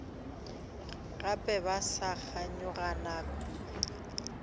gape ba sa kganyogana kudu